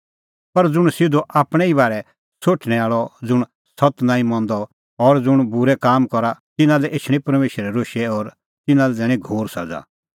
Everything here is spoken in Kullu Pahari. पर ज़ुंण सिधअ आपणैं ई बारै सोठणैं आल़अ ज़ुंण सत्त नांईं मंदअ और ज़ुंण बूरै काम करा तिन्नां लै एछणी परमेशरा रोशै और तिन्नां लै दैणीं घोर सज़ा